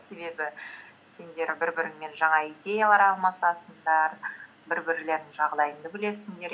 себебі сендер бір біріңмен жаңа идеялар алмасасыңдар бір бірлеріңнің жағдайыңды білесіңдер